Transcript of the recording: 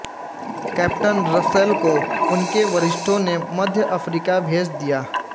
captain Russell को उन्के वरिष्ठों ने मध्य अफ़रीका भेज दिया